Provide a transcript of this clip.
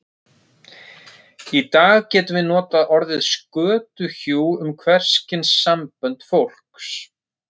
Í dag getum við notað orðið skötuhjú um hvers kyns sambönd fólks.